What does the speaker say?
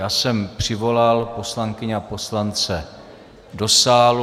Já jsem přivolal poslankyně a poslance do sálu.